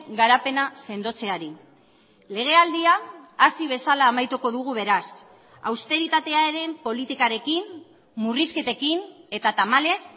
garapena sendotzeari legealdia hasi bezala amaituko dugu beraz austeritatearen politikarekin murrizketekin eta tamalez